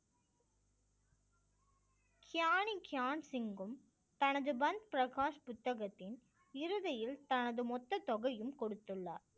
கியானிக்கியான்சிங்கும் தனது பன் பிரகாஷ் புத்தகத்தின் இறுதியில் தனது மொத்த தொகையும் கொடுத்துள்ளார்